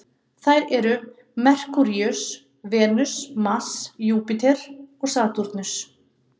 Þær eru Merkúríus, Venus, Mars, Júpíter og Satúrnus.